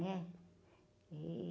Né? E...